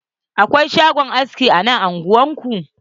Akwai shagon aski a nan unguwan ku?